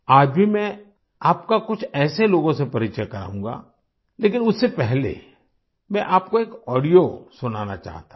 आज भी मैं आपका कुछ ऐसे लोगों से परिचय कराउंगा लेकिन उससे पहले मैं आपको एक ऑडियो सुनाना चाहता हूँ